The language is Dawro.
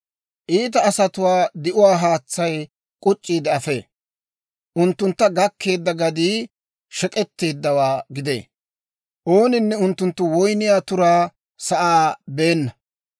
«Iita asatuwaa di'uwaa haatsay k'uc'c'iide afee; unttuntta gakkeedda gadii shek'k'etteeddawaa gidee. Ooninne unttunttu woyniyaa turaa sa'aa beenna.